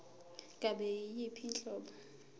ngabe yiyiphi inhlobo